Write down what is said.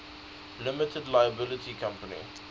limited liability company